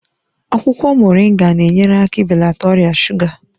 Akwụkwọ Moringa na-enyere aka ibelata ọrịa shuga